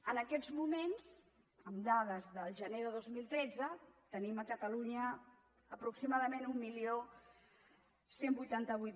en aquests moments amb dades del gener de dos mil tretze tenim a catalunya aproximadament onze vuitanta vuit